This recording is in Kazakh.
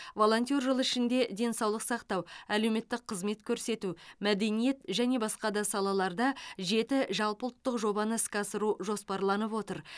волонтер жылы ішінде денсаулық сақтау әлеуметтік қызмет көрсету мәдениет және басқа да салаларда жеті жалпыұлттық жобаны іске асыру жоспарланып отыр